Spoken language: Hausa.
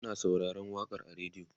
Muna sauraron waƙan a radio